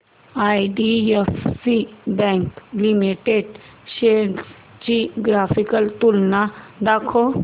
IDFC bank limited shares ची graphical तुलना दाखव